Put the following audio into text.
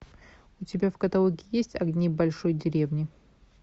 у тебя в каталоге есть огни большой деревни